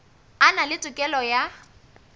a na le tokelo ya